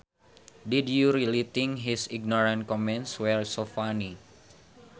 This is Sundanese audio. Did you really think his ignorant comments were so funny